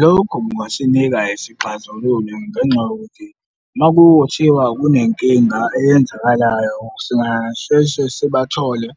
Lokhu kungasinika isixazululo ngenxa yokuthi uma kuthiwa kunenkinga eyenzakalayo singasheshe sibathole